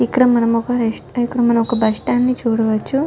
ఇక్కడ మానమొక రెస్ట్బ స్టాండ్ ని చూడవచ్చు.